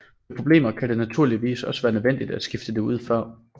Ved problemer kan det naturligvis også være nødvendigt at skifte det ud før